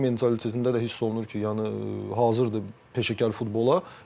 Mentalitetində də hiss olunur ki, yəni hazırdır peşəkar futbola.